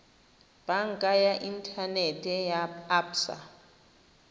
banka ya inthanete ya absa